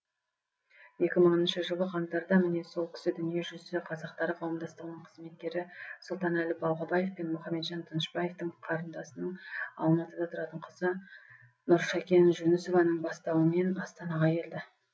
екі мыңыншы жылы қаңтарда міне сол кісі дүниежүзі қазақтары қауымдастығының қызметкері сұлтанәлі балғабаев пен мұхамеджан тынышбаевтың қарындасының алматыда тұратын қызы нұршакен жүнісованың бастауымен астанаға келді